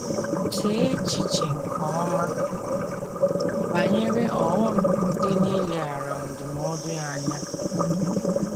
Chee echiche nke ọma banyere ọghọm dị n’ileghara ndụmọdụ ya anya.